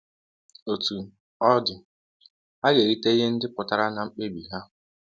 Otú ọ dị, ha ga-erite ihe ndị pụtara n’mkpebi ha.